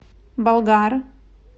болгар